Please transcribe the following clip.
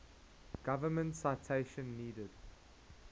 government citation needed